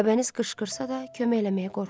Aybəniz qışqırsa da, kömək eləməyə qorxurdu.